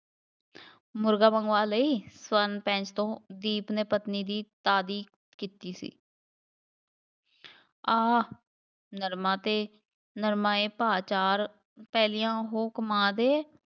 ਮੁਰਗਾ ਮੰਗਵਾ ਲਈ ਸਵਰਨ ਤੋਂ, ਦੀਪ ਨੇ ਪਤਨੀ ਦੀ ਤਾਰੀਫ ਕੀਤੀ ਸੀ ਆਹ ਨਰਮਾ 'ਤੇ ਨਰਮਾ ਏ ਭਾਅ ਚਾਰ ਪਹਿਲੀਆਂ ਹੂਕ ਮਾਰ ਦੇ